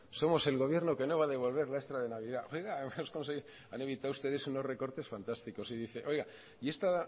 somos el gobierno que no va a devolver la extra de navidad han evitado ustedes unos recortes fantásticos y dice y esta